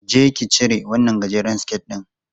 Je ki cire wannan gajeren siket ɗin!